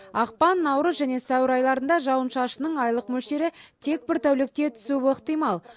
ақпан наурыз және сәуір айларында жауын шашынның айлық мөлшері тек бір тәулікте түсуі ықтимал